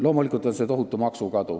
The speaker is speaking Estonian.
Loomulikult on tagajärjeks ka tohutu maksukadu.